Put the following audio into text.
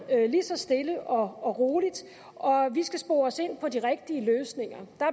lige så stille og roligt og vi skal spore os ind på de rigtige løsninger der